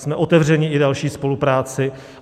Jsme otevřeni i další spolupráci.